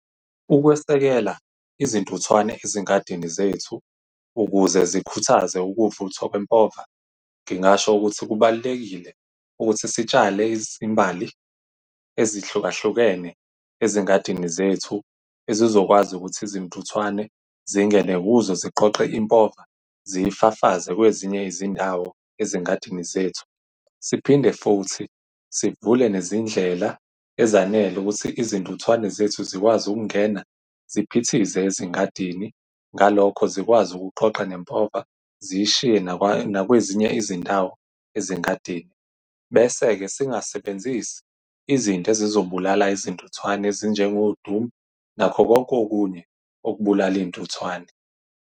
Ukwesekela izintuthwane ezingadini zethu ukuze zikhuthaze ukuvuthwa kwempova, ngingasho ukuthi kubalulekile ukuthi sitshale izimbali ezihlukahlukene ezingadini zethu ezizokwazi ukuthi izintuthwane zingene kuzo ziqoqe impova, ziyifafaze kwezinye izindawo ezingadini zethu. Siphinde futhi sivule nezindlela ezanele ukuthi izintuthwane zethu zikwazi ukungena ziphithize ezingadini. Ngalokho, zikwazi ukuqoqa nempova ziyishiye nakwezinye izindawo ezingadingi. Bese-ke singasebenzisi izinto ezizobulala izintuthwane ezinjengo-Doom, nakho konke okunye okubulala iy'ntuthwane.